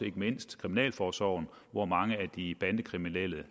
ikke mindst kriminalforsorgen hvor mange af de kriminelle